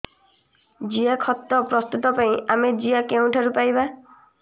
ଜିଆଖତ ପ୍ରସ୍ତୁତ ପାଇଁ ଆମେ ଜିଆ କେଉଁଠାରୁ ପାଈବା